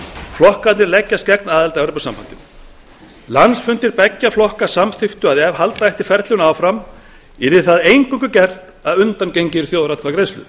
flokkarnir leggjast gegn aðild að evrópusambandinu landsfundir beggja flokka samþykktu að ef halda ætti ferlinu áfram yrði það eingöngu gert að undangenginni þjóðaratkvæðagreiðslu